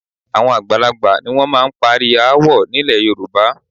Àwọn àgbàlagbà ni wọ́n máa ń parí aáwọ̀ nílẹ̀ Yorùbá